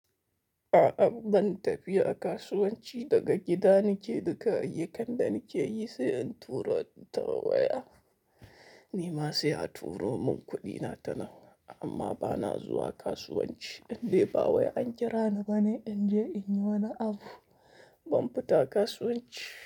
A'a ban tafi a kasuwanci daga gida nake duka ayyukan da nake yi sai in tura ta waya. Ni ma sai a turo mun kuɗina ta waya amma ba na zuwa kasuwanci, in dai ba wai an kira ni bane in je in yi wani abu, ban fita kasuwanci.